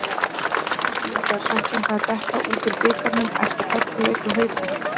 Var ekki gífurlega svekkjandi að detta út úr bikarnum eftir hörkuleik við Hauka?